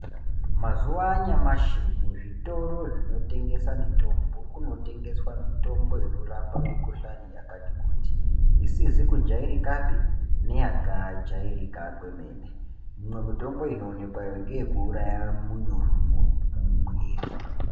Mazuva anyamashi muzvitoro zvinotengesa mitombo kunotengeswa mitombo inorapa mikohlani yakasiyana isizi kujairikapi nekajairika kwemene, imwe mitombo inoonekwayo neyekuuraya munyurwi mumwiri.